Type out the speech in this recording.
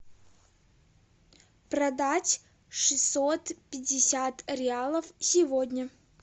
продать шестьсот пятьдесят реалов сегодня